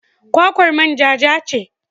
Kwakwar manja ja ce.